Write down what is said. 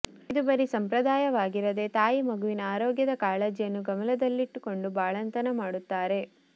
ಇದು ಬರೀ ಸಂಪ್ರದಾಯವಾಗಿರದೆ ತಾಯಿ ಮಗುವಿನ ಆರೋಗ್ಯದ ಕಾಳಜಿಯನ್ನು ಗಮನದಲ್ಲಿಟ್ಟುಕೊಂಡು ಬಾಳಂತನ ಮಾಡುತ್ತಾರೆ